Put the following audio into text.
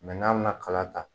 n'an bɛna kala ta.